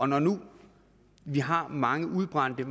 når nu vi har mange udbrændte